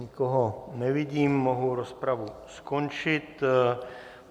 Nikoho nevidím, mohu rozpravu skončit.